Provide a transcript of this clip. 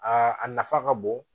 Aa a nafa ka bon